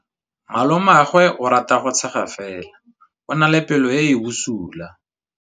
Malomagwe o rata go tshega fela o na le pelo e e bosula.